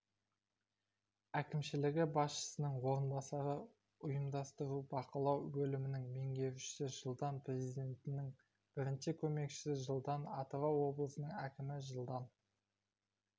әкімшілігі басшысының орынбасары ұйымдастыру-бақылау бөлімінің меңгерушісі жылдан президентінің бірінші көмекшісі жылдан атырау облысының әкімі жылдан